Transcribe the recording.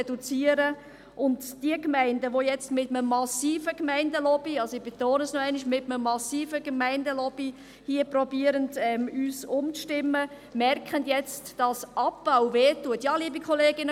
Diejenigen Gemeinden, die jetzt mit einem massiven – ich wiederhole: mit einem massiven – Gemeinde-Lobbying uns umzustimmen versuchen, merken jetzt, dass Abbau schmerzt.